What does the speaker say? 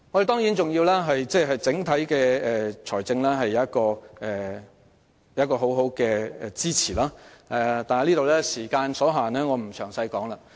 當然，我們的整體財政亦要有充分支持，但由於時間所限，我便不再在此贅述。